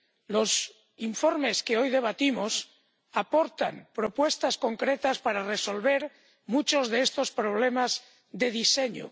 Los informes que hoy debatimos aportan propuestas concretas para resolver muchos de estos problemas de diseño.